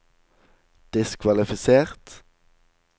diskvalifisert